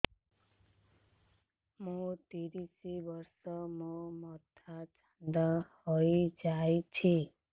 ମୋ ତିରିଶ ବର୍ଷ ମୋ ମୋଥା ଚାନ୍ଦା ହଇଯାଇଛି